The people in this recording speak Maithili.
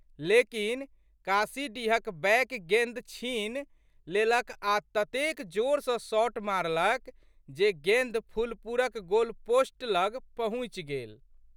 लेकिन, काशीडीहक बैक गेंद छीनि लेलक आ ततेक जोर सँ शॉट मारलक जे गेंद फुलपुरक गोलपोस्ट लग पहुँचि गेल।